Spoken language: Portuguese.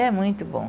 É muito bom.